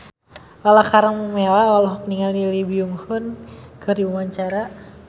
Lala Karmela olohok ningali Lee Byung Hun keur diwawancara